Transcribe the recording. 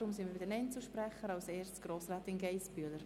Wir sind bei den Einzelsprecherinnen und -sprechern angelangt.